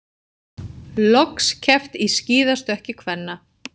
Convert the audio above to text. Loks keppt í skíðastökki kvenna